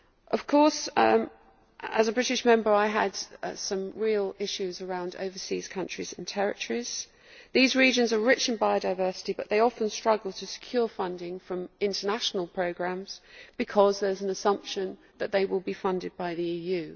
Of course, as a British Member I had some real issues around overseas countries and territories. These regions are rich in biodiversity but they often struggle to secure funding from international programmes because there is an assumption that they will be funded by the EU.